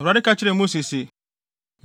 Awurade ka kyerɛɛ Mose se,